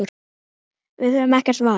Við höfum ekkert val.